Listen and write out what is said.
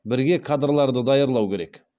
бірге кадрларды даярлау керек